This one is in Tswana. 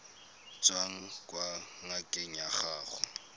tswang kwa ngakeng ya gago